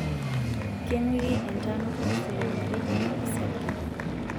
kenguiki entanu insulin metijinga orsarge.